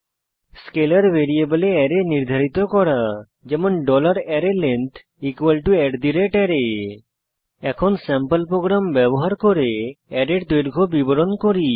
scalar ভ্যারিয়েবলে array নির্ধারিত করা যেমন arrayLength array এখন স্যাম্পল প্রোগ্রাম ব্যবহার করে অ্যারের দৈর্ঘ্যের বিবরণ দেখি